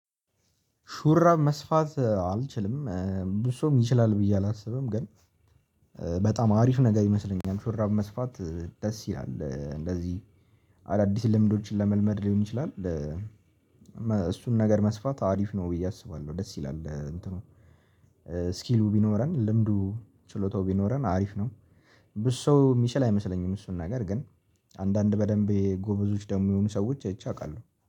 ሹራብ መስፋት አልችልም። ብዙ ሰውም ይችላል ብዬ አላስብም ግን በጣም አሪፍ ነገር ይመስለኛል። ሹራብ መስፋት ደስ ይላል እንደዚህ አዳዲስ ልምዶችን ለመልመድ ሊሆን ይችላል። እሱን ነገር መስፋት አሪፍ ነው ብዬ አስባለሁ ደስ ይላል። እንትኑ እስኪሉ ቢኖረን ልምዱ ችሎታው ቢኖረን አሪፍ ነው። ብዙ ሰው የሚችል አይመስለኝም እሱን ነገር ግን አንዳንድ በደንብ ጎበዞች ደግሞ የሆኑ ሰዎች አይቸ አውቃለሁ